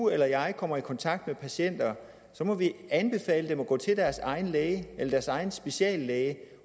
eller jeg kommer i kontakt med patienter så må vi anbefale dem at gå til deres egen læge eller deres egen speciallæge